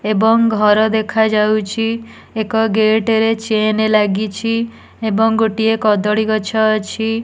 ଏବଂ ଘର ଦେଖାଯାଉଚି ଏକ ଗେଟ ରେ ଚେନ ଲାଗିଚି ଏବଂ ଗୋଟିଏ କଦଳୀ ଗଛ ଅଛି।